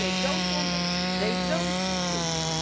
If they do not want it, they do not choose it.